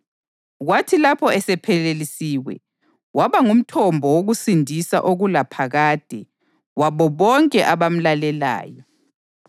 kwathi lapho esephelelisiwe, waba ngumthombo wokusindiswa okulaphakade wabo bonke abamlalelayo